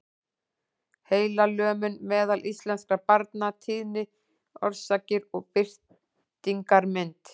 Heilalömun meðal íslenskra barna- tíðni, orsakir og birtingarmynd.